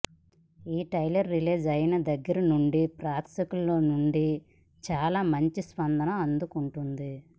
ఈ trailer release అయినా దగ్గరి నుండి ప్రేక్షకుల నుండి చాలా మంచి స్పందన అందుకుంటుంది